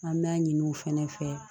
An b'a ɲini u fɛnɛ fɛ